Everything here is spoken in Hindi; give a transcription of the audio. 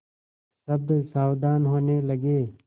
सब सावधान होने लगे